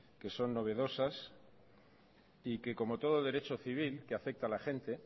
que son novedosas y que como todo derecho civil que afecta a la gente